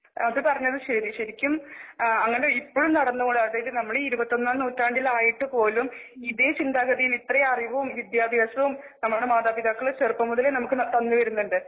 അതുപറഞ്ഞതുശരിശരിക്കും അങ്ങനെ ഇപ്പഴും നടന്നു നമ്മളീ ഇരുപത്തൊന്നാം നൂറ്റാണ്ടില് ആയിട്ടുപോലും ഇതേ ചിന്താഗതിയും ഇത്രേം അറിവും വിദ്ത്യഭ്യാസവും നമ്മുടെ മാതാപിതാക്കള് ചെറുപ്പം മുതലേ നമുക്ക് തന്നുവരുന്നുണ്ട്.